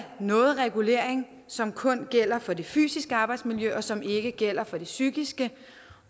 noget regulering som kun gælder for det fysiske arbejdsmiljø men som ikke gælder for det psykiske